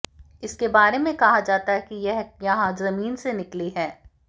इसके बारे में कहा जाता है कि यह यहां जमीन से निकली है